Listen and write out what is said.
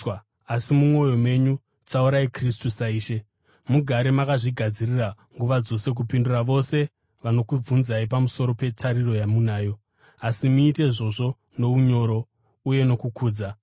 Asi mumwoyo menyu tsaurai Kristu saIshe. Mugare makazvigadzirira nguva dzose kupindura vose vanokubvunzai pamusoro petariro yamunayo. Asi muite izvozvo nounyoro uye nokukudza,